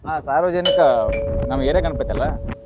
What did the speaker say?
ಆಹ್ ಸಾರ್ವಜನಿಕ ನಮ್ಮ area ಗಣಪತಿ ಅಲಾ.